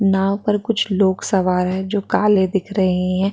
नांव पर कुछ लोग सवार है जो काले दिख रहे है।